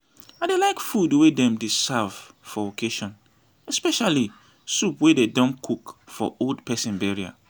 i dey like food wey dem dey serve for occassion especially soup wey dem cook for old person burial